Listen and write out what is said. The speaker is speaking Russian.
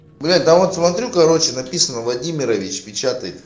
блять да вот смотрю короче написано владимирович печатает